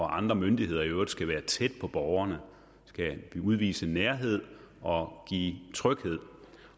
andre myndigheder i øvrigt skal være tæt på borgerne udvise nærhed og give tryghed